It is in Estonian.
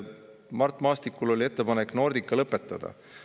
Mart Maastikul oli ettepanek Nordica lõpetada.